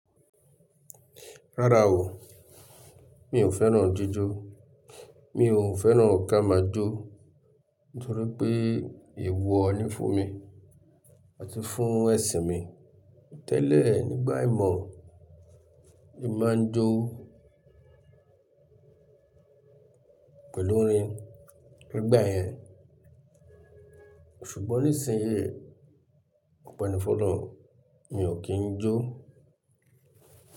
Rárá o, mi ò fẹ́ràn jíjó, mi ò fẹ́ràn ká máa jó nítorí pé èèwọ̀ ni fún mi àti fún ẹ̀sìn mi. Tẹ́lẹ̀ nígbà ìmọ̀, ni máa ń jó pẹ̀lú orin nígbà yẹn ṣùgbọ́n nísìnyí, ọpe ni fun olorun mi ò kí ń jó.